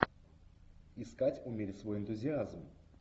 искать умерь свой энтузиазм